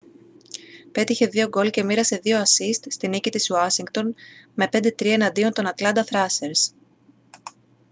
πέτυχε 2 γκολ και μοίρασε 2 ασσίστ στη νίκη της ουάσιγκτον με 5-3 εναντίον των ατλάντα θράσερς